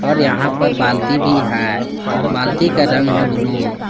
और यहां पर बाल्टी भी है बाल्टी का रंग है ब्लू ।